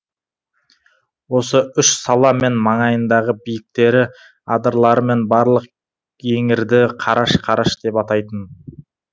осы үш сала мен маңайындағы биіктері адырлары мен барлық еңірді қараш қараш деп атайтын